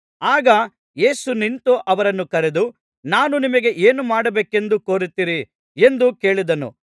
ಆಗ ಯೇಸು ನಿಂತು ಅವರನ್ನು ಕರೆದು ನಾನು ನಿಮಗೆ ಏನು ಮಾಡಬೇಕೆಂದು ಕೋರುತ್ತೀರಿ ಎಂದು ಕೇಳಿದನು